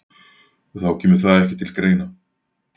Þá kemur það ekki til greina